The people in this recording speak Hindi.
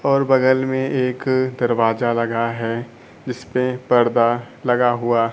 और बगल में एक दरवाजा लगा है जिस पे पर्दा लगा हुआ--